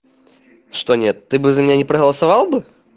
что нет ты бы за меня не проголосовал бы